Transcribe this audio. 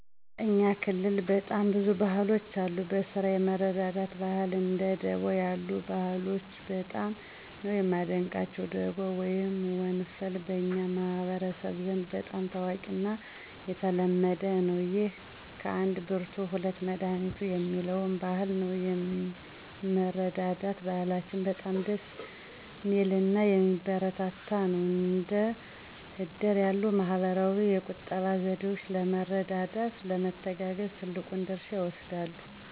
በእኛ ክልል በጣም ብዙ ባህሎች አሉ። በስራ የመረዳዳት ባህል እንደ ደቦ ያሉ ባህሎች በጣም ነው ማደንቀቸው። ደቦ ወይም ወንፈል በኛ ማህበረሰብ ዘንድ በጣም ታዋቂና የተለመደ ነው። ይህም ከአንድ ብርቱ ሁለት መዳኒቱ የሚለውን አበባል በደንብ ይገልፃል። ሌላኛው የመረዳዳት ባህል ነው የመረዳዳት ባህላችን በጣም ደስ ሚልናየሚበረታታ ነው። እንደ እድር ያሉ ባህላዊ የቁጠባ ዘዴወች ለመረዳዳት፣ ለመተጋገዝ ትልቁን ድርሻ ይወስዳሉ።